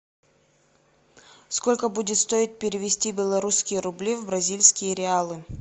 сколько будет стоить перевести белорусские рубли в бразильские реалы